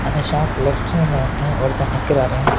இந்த ஷாப் லெப்ட்சைட்ல வந்து ஒருத்தர் நிக்கிறாரு.